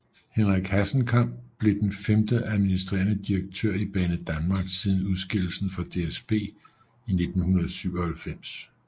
Henrik Hassenkam blev den femte administrerende direktør i Banedanmark siden udskillelsen fra DSB i 1997